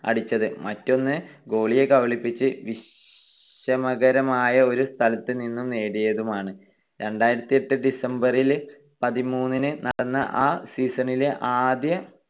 അടിച്ചത് മറ്റൊന്ന് ഗോളിയെ കബളിപ്പിച്ച് വിഷമകരമായ ഒരു സ്ഥലത്ത് നിന്നും നേടിയതുമാണ്. രണ്ടായിരത്തിയെട്ട് December പതിമൂന്നിന് നടന്ന ആ season ലെ ആദ്യ